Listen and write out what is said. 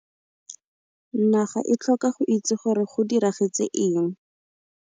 Naga e tlhoka go itse gore go diragetse eng.